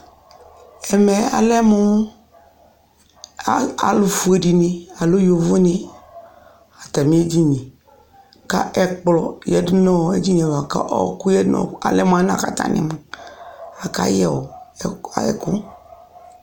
ɛmɛ alɛmo alo fue di ni alo yovo di ni atami edini ko ɛkplɔ yadu no idili ava la ko ɔku yadu alɛ mo anɛ ko atani kayɛ ɛku